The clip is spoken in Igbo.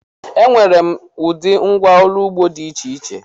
Enwere m ụdị ngwá ọrụ ugbo dị iche iche.